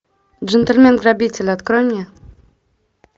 джентльмен грабитель открой мне